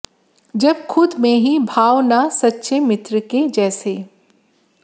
जब खुद में ही भाव न सच्चे मित्र के जैसे